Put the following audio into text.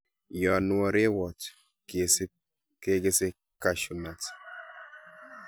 Yon woo rewot kesib kekese cashew nuts.